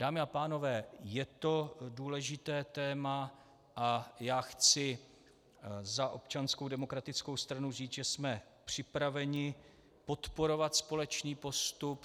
Dámy a pánové, je to důležité téma a já chci za Občanskou demokratickou stranu říct, že jsme připraveni podporovat společný postup.